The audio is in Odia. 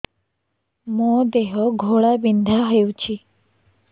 ମୋ ଦେହ ଘୋଳାବିନ୍ଧା ହେଉଛି